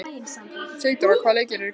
Sigdór, hvaða leikir eru í kvöld?